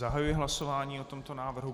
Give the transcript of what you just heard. Zahajuji hlasování o tomto návrhu.